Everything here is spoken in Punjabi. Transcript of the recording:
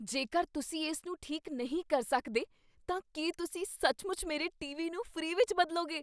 ਜੇਕਰ ਤੁਸੀਂ ਇਸ ਨੂੰ ਠੀਕ ਨਹੀਂ ਕਰ ਸਕਦੇ ਤਾਂ ਕੀ ਤੁਸੀਂ ਸੱਚਮੁੱਚ ਮੇਰੇ ਟੀਵੀ ਨੂੰ ਫ੍ਰੀ ਵਿੱਚ ਬਦਲਗੇ ?